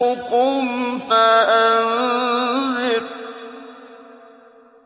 قُمْ فَأَنذِرْ